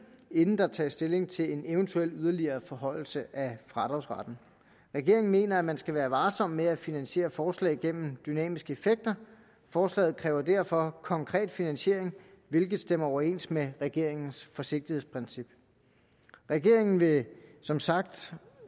inden der tages stilling til en eventuel yderligere forhøjelse af fradragsretten regeringen mener at man skal være varsom med at finansiere forslag igennem dynamiske effekter forslaget kræver derfor konkret finansiering hvilket stemmer overens med regeringens forsigtighedsprincip regeringen vil som sagt